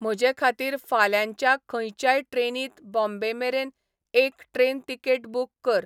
म्हजेखातीर फाल्यांच्या खंयच्याय ट्रेनींत बॉम्बेमेरेन एक ट्रेन तिकेट बूक कर